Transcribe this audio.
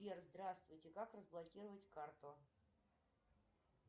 сбер здравствуйте как разблокировать карту